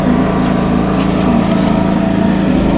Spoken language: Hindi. और एक लाल रंग का गमला भी रखा हुआ है।